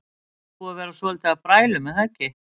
Nú er búið að vera svolítið af brælum er það ekki?